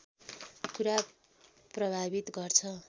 कुरा प्रभावित गर्छ